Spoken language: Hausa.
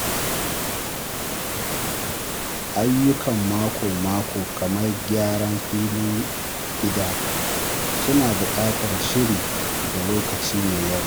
Ayyukan mako-mako kamar gyaran filin gida suna buƙatar shiri da lokaci mai yawa.